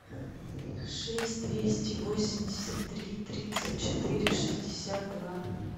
шесть двести восемьдесят три тридцать четыре шестьдесят два